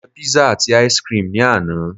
mo je pizza ati ice cream ni ana